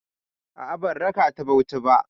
A'a, ban raka ta Bauchi ba.